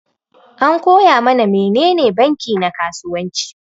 An koya mana menene banki na kasuwanci.